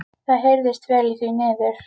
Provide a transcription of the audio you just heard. Það heyrðist vel í því niður.